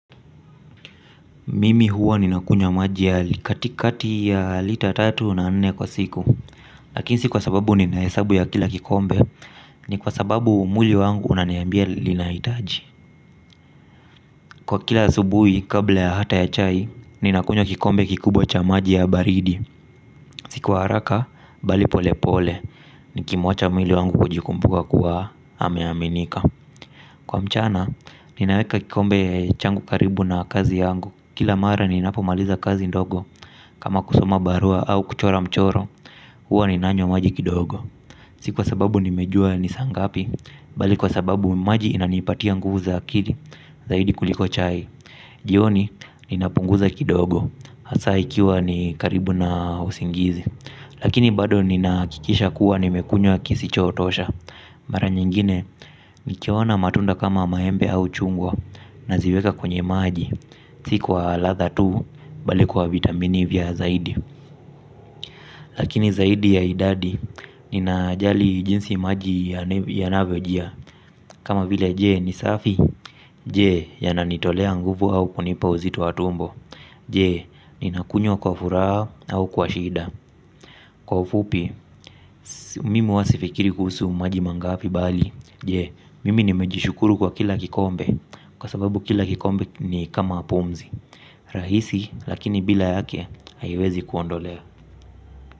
Mimi huwa ninakunywa maji ya katikati ya lita tatu na nne kwa siku. Lakini si kwa sababu ninahesabu ya kila kikombe ni kwa sababu mwili wangu unaniambia linahitaji. Kwa kila asubuhi kabla hata ya chai, ninakunywa kikombe kikubwa cha maji ya baridi. Si kwa haraka bali polepole nikimwacha mwili wangu kujikumbuka kuwa ameaminika. Kwa mchana ninaweka kikombe changu karibu na kazi yangu. Kila mara ninapomaliza kazi ndogo kama kusoma barua au kuchora mchoro, huwa ninanywa maji kidogo si kwa sababu nimejua ni saa ngapi bali kwa sababu maji inanipatia nguvu za akili zaidi kuliko chai. Jioni ninapunguza kidogo hasaa ikiwa ni karibu na usingizi. Lakini bado ninahakikisha kuwa nimekunywa ya kisichotosha. Mara nyingine, nikiona matunda kama maembe au chungwa, naziweka kwenye maji si kwa ladha tu bali kwa vitamini zaidi. Lakini zaidi ya idadi ninajali jinsi maji yanavyojia. Kama vile je, ni safi? Je, yananitolea nguvu au kunipa uzito wa tumbo. Je, ninakunywa kwa furaha au kwa shida. Kwa ufupi mimi huwa sifikiri kuhusu maji mangafi bali jee mimi nimejishukuru kwa kila kikombe. Kwa sababu kila kikombe ni kama pumzi. Rahisi lakini bila yake haiwezi kuondolea.